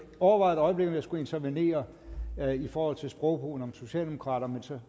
overvejede om jeg skulle intervenere i forhold til sprogbrugen om socialdemokraterne men så